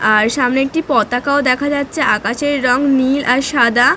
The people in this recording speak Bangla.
আর সামনে একটি পতাকাও দেখা যাচ্ছে। আকাশের রঙ নীল আর সাদা।